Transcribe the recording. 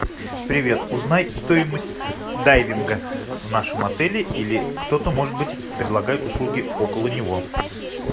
привет узнай стоимость дайвинга в нашем отеле или кто то может быть предлагает услуги около него